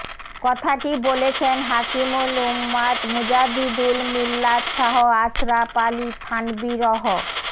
কথাটি বলেছেন হাকীমুল উম্মাত মুজাদ্দিুল মিল্লাত শাহ আশরাফ আলী থানভী রহ